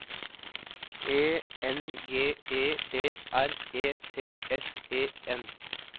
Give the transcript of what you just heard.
E N G E B R E T S E N